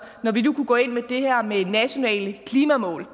når vi nu kunne gå ind på det her med nationale klimamål